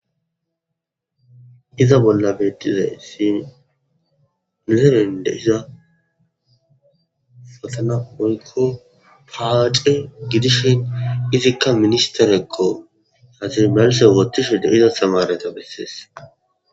iza bolla bedizaysi neserende iza fasana oykko paace gidishen izikka ministerekko haasi malse wotishende iza stamareto bessees